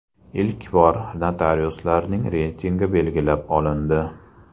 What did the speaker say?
Ilk bor notariuslarining reytingi belgilab olindi.